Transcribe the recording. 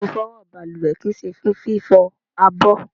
Ifowo baluwe kii se fún fifo àbọ̀